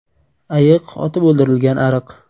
Ayiq otib o‘ldirilgan ariq.